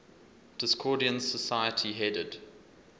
discordian society headed